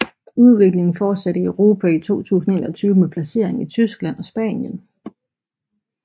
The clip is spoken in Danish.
Udviklingen fortsatte i Europa i 2021 med lancering i Tyskland og Spanien